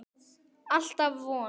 Alltaf von.